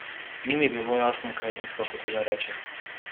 Ni mi bilo jasno, kaj je ženska hotela reči.